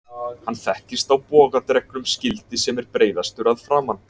Hann þekkist á bogadregnum skildi sem er breiðastur að framan.